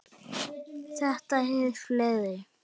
Þetta er í ferli.